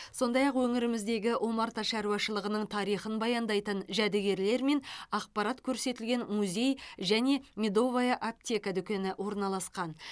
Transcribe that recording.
сондай ақ өңіріміздегі омарта шаруашылығының тарихын баяндайтын жәдігерлер мен ақпарат көрсетілген музей және медовая аптека дүкені орналасқан